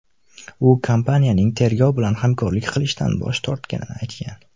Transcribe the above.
U kompaniyaning tergov bilan hamkorlik qilishdan bosh tortayotganini aytgan.